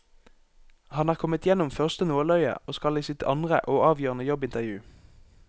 Han er kommet gjennom første nåløye og skal i sitt andre og avgjørende jobbintervju.